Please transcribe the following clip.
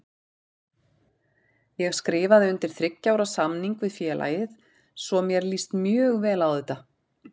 Ég skrifaði undir þriggja ára samning við félagið svo mér líst mjög vel á þetta.